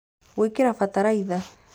Gwĩkĩra bataraitha